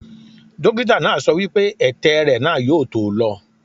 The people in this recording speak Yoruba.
Dókítà náà sọ wípé ètè rẹ̀ náà yóò tó lọ.